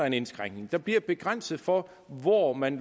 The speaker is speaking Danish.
en indskrænkning der bliver grænser for hvor man